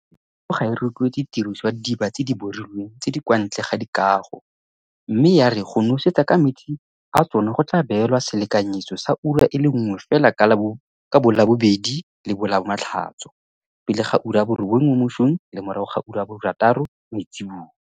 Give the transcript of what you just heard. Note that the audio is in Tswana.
Toropokgolo ga e rotloetse tiriso ya didiba tse di borilweng tse di kwa ntle ga dikago mme ya re go nosetsa ka metsi a tsona go tla beelwa selekanyetso sa ura e le nngwe fela ka boLabobedi le boLamatlhatso, pele ga 9am le morago ga 6pm.